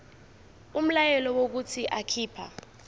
umyalelo wokuthi akhipha